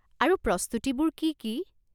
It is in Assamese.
আৰু প্ৰস্তুতিবোৰ কি কি?